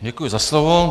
Děkuji za slovo.